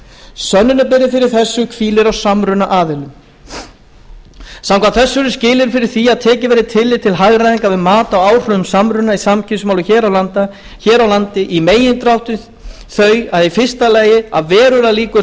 sönnunarbyrði fyrir þessu hvílir á samrunaaðilum samkvæmt þessu eru skilyrðin fyrir því að tekið verði tillit til hagræðingar við mat á áhrifum samruna í samkeppnismálum hér á landi í megindráttum þau í fyrsta lagi að verulegar líkur séu